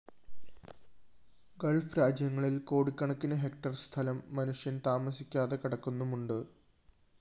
Gulf രാജ്യങ്ങളില്‍ കോടിക്കണക്കിന് hectare സ്ഥലം മനുഷ്യന്‍ താമസിക്കാതെ കിടക്കുന്നുമുണ്ട്